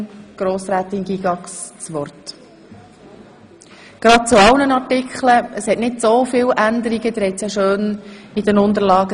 Wie sie aus den Unterlagen ersehen, gibt es ziemlich viele Änderungen.